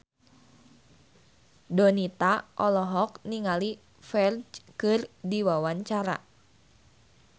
Donita olohok ningali Ferdge keur diwawancara